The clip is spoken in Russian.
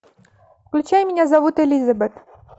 включай меня зовут элизабет